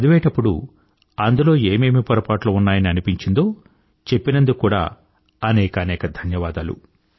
చదివేటప్పుడు అందులో ఏమేమి పొరపాట్లు ఉన్నాయని అనిపించిందో చెప్పినందుకు కూడా అనేకానేక ధన్యవాదాలు